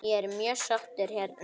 Ég er mjög sáttur hérna.